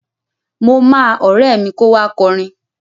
Mo máa ọ̀rẹ́ mi kó wá kọrin.